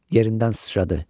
Yerindən sıçradı.